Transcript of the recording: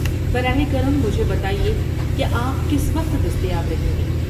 براہ کرم مجھے بتائیے کہ آپ کس وقت دستیاب رہیں گے۔